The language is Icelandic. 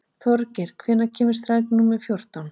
Hróðgeir, hvenær kemur strætó númer fjórtán?